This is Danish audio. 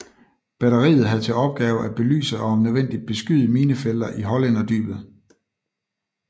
Batteriet have til opgave at belyse og om nødvendigt beskyde minefelter i Hollænderdybet